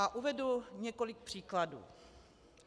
A uvedu několik příkladů.